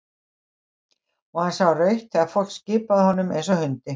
Og hann sá rautt þegar fólk skipaði honum eins og hundi.